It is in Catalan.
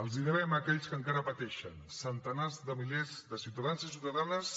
els ho devem a aquells que encara pateixen centenars de milers de ciutadans i ciutadanes